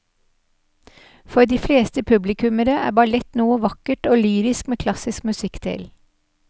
For de fleste publikummere er ballett noe vakkert og lyrisk med klassisk musikk til.